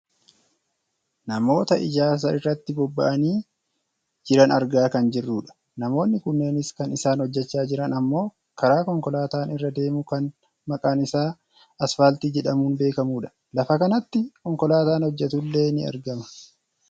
Namoota ijaarsa irratti bobbahanii jiran argaa kan jirrudha. Namoonni kunneenis kan isaan hojjachaa jiran ammoo karaa konkolaataan irra deemu kan maqaan isaa asfaaltii jedhamuun beekamudha. Lafa kanatti konkolaataan hojjatullee ni argama?